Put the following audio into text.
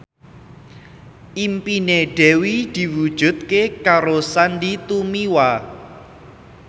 impine Dewi diwujudke karo Sandy Tumiwa